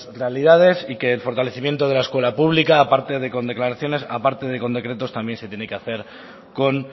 realidades y que el fortalecimiento de la escuela pública aparte de con declaraciones aparte de con decretos también se tiene que hacer con